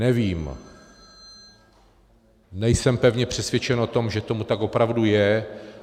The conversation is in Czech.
Nevím, nejsem pevně přesvědčen o tom, že tomu tak opravdu je.